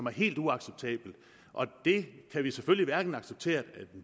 er helt uacceptabelt det kan vi selvfølge hverken acceptere at en